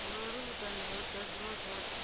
ngauri vhuṱanzi ho ḓadziswa zwone